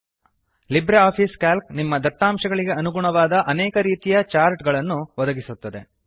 LibreOffice C A L C ನಿಮ್ಮ ದತ್ತಾಂಶಗಳಿಗೆ ಅನುಗುಣವಾದ ಅನೇಕ ರೀತಿಯ ಚಾರ್ಟ್ ಗಳನ್ನು ಒದಗಿಸುತ್ತದೆ